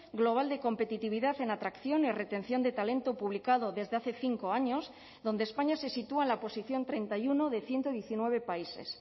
global de competitividad en atracción y retención de talento publicado desde hace cinco años donde españa se sitúa en la oposición treinta y uno de ciento diecinueve países